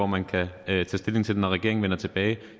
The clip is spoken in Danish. man kan tage stilling til det når regeringen vender tilbage